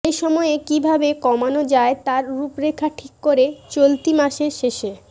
সেই সময় কী ভাবে কমানো যায় তার রূপরেখা ঠিক করে চলতি মাসের শেষে